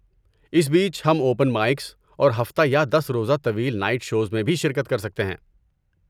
اس بیچ، ہم open mics اور ہفتہ یا دس روزہ طویل نائٹ شوز میں بھی شرکت کر سکتے ہیں